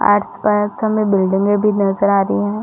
आस- पास हमें बिल्डिंगे भी नज़र आ रही है।